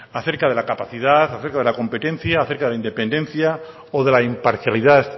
acerca de la capacidad acerca de la competencia acerca de la independencia o de la imparcialidad